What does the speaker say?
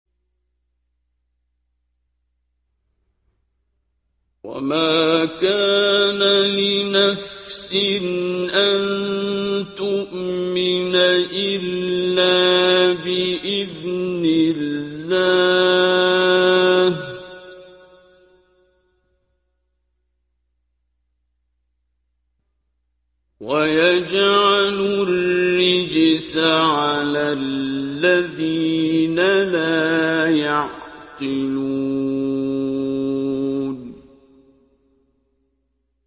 وَمَا كَانَ لِنَفْسٍ أَن تُؤْمِنَ إِلَّا بِإِذْنِ اللَّهِ ۚ وَيَجْعَلُ الرِّجْسَ عَلَى الَّذِينَ لَا يَعْقِلُونَ